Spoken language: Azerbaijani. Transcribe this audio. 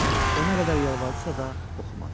Ona qədər yalvardısa da oxumadım.